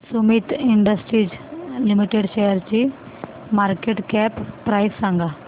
Sumeet industries limited शेअरची market cap price सांगा